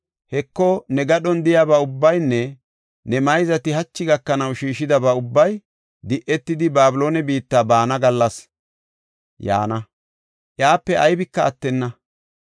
‘Heko, ne gadhon de7iyaba ubbaynne ne mayzati hachi gakanaw shiishidaba ubbay di7etidi, Babiloone biitta baana gallas yaana; iyape aybika attenna.